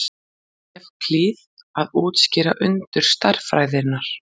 evklíð að útskýra undur stærðfræðinnar